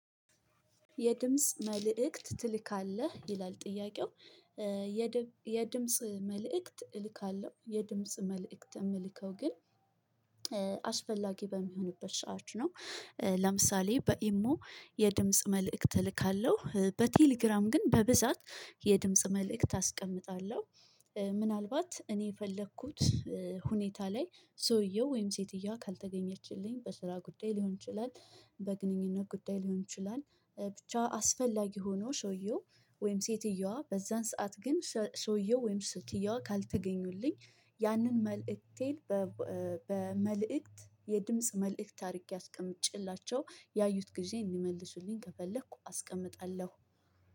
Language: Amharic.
የድምጽ መልእክት ትልካለህ ይላል ጥያቄው የድምጽ መልእክት እልካለሁ የድምጽ መልእክት እምልከው ግን አስፈላጊ በሚሆንበት ሰዓት ነው ለምሳሌ በኢሞ የድምጽ መልእክት እልካለሁ በቴሌግራም ግን በብዛት የድምጽ መልእክት አስቀምጣለሁ። ምናልባት እኔ የፈለኩት ሁኔታ ላይ ሰውየው ወይም ሴትየዋ ካልተገኘችልኝ በስራ ጉዳይ ሊሆን ይችላል በግንኙነት ጉዳይ ሊሆን ይችላል ብቻ አስፈላጊ ሆኖ ሰውየው ወይም ሴትየዋ በዛን ሰዓት ግን ሰውየው ወይም ሴትየዋ ካልተገኙልኝ ያንን መልዕክቴ በመልእክት የድምጽ መልእክት አድርጌ አስቀምጬላቸው ያዩት ጊዜ እንዲመልሱልኝ ከፈለኩ አስቀምጣለሁ።